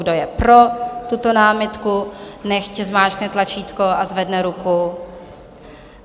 Kdo je pro tuto námitku, nechť zmáčkne tlačítko a zvedne ruku.